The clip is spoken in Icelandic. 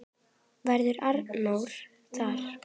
Verður Arnór þar?